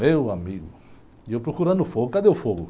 Meu amigo, eu procurando o fogo, cadê o fogo?